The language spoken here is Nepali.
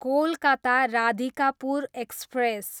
कोलकाता, राधिकापुर एक्सप्रेस